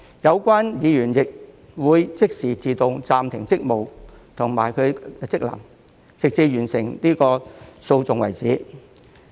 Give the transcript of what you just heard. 有關議員會即時自動暫停職務和職能，直至完成訴訟為止。